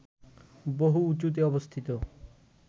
বহু উঁচুতে অবস্থিত